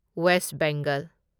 west Bengal